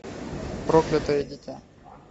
проклятое дитя